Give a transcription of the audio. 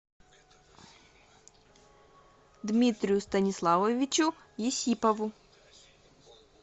дмитрию станиславовичу есипову